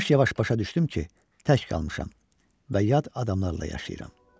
Yavaş-yavaş başa düşdüm ki, tək qalmışam və yad adamlarla yaşayıram.